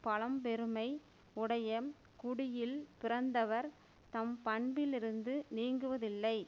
பழம் பெருமை உடைய குடியில் பிறந்தவர் தம் பண்பிலிருந்து நீங்குவதில்லை